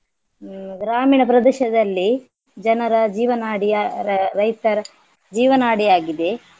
ಹ್ಮ್ ಗ್ರಾಮೀಣ ಪ್ರದೇಶದಲ್ಲಿ ಜನರ ಜೀವನಾಡಿಯ ರ~ ರೈತರ ಜೀವನಾಡಿಯಾಗಿದೆ.